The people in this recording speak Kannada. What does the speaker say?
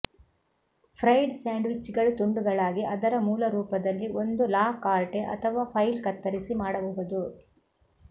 ಫ್ರೈಡ್ ಸ್ಯಾಂಡ್ವಿಚ್ಗಳು ತುಂಡುಗಳಾಗಿ ಅದರ ಮೂಲ ರೂಪದಲ್ಲಿ ಒಂದು ಲಾ ಕಾರ್ಟೆ ಅಥವಾ ಫೈಲ್ ಕತ್ತರಿಸಿ ಮಾಡಬಹುದು